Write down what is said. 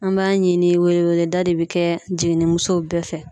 An b'a ɲini weleweleda de bɛ kɛ jiginimusow bɛɛ fɛ